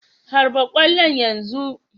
Harba ƙwallon yanzu!"